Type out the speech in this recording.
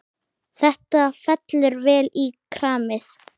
Þetta fellur vel í kramið.